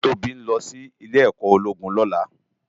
Tobi n lò si Ilè èkò ólógún lòlá